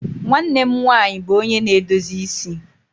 Nwanne m nwanyị bụ onye na-edozi isi.